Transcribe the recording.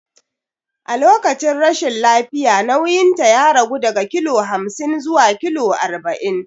A lokacin rashin lafiya nauyinta ya ragu daga kilo hamsin zuwa kilo arba'in.